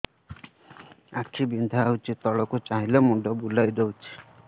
ଆଖି ବିନ୍ଧା ହଉଚି ତଳକୁ ଚାହିଁଲେ ମୁଣ୍ଡ ବୁଲେଇ ଦଉଛି